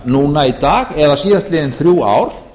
núna í dag eða síðastliðin þrjú ár